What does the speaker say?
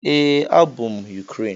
Ee, abụ m Ukraine.